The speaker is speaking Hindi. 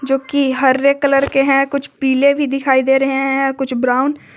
जो कि हरे कलर के हैं कुछ पीले भी दिखाई दे रहे हैं कुछ ब्राउन --